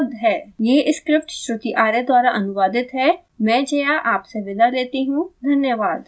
I I T Bombay से मैं श्रुति आर्य आपसे विदा लेती हूँ हमसे जुड़ने के लिए धन्यवाद